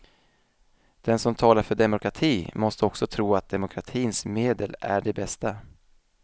Den som talar för demokrati måste också tro att demokratins medel är de bästa.